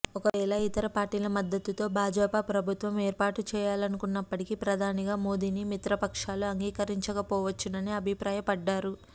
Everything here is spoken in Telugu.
ఒకవేళ ఇతర పార్టీల మద్దతుతో భాజపా ప్రభుత్వం ఏర్పాటు చేయాలనుకున్నప్పటికీ ప్రధానిగా మోదీని మిత్రపక్షాలు అంగీకరించకపోవచ్చునని అభిప్రాయపడ్డారు